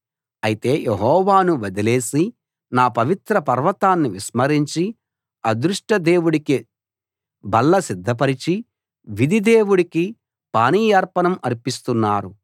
అయితే యెహోవాను వదిలేసి నా పవిత్ర పర్వతాన్ని విస్మరించి అదృష్టదేవుడికి బల్ల సిద్ధపరచి విధి దేవుడికి పానీయార్పణం అర్పిస్తున్నారు